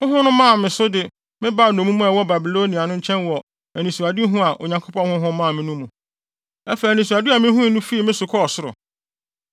Honhom no maa me so de me baa nnommum a wɔwɔ Babilonia no nkyɛn wɔ anisoadehu a Onyankopɔn Honhom maa me no mu. Afei anisoade a mihuu no fii me so kɔɔ ɔsoro.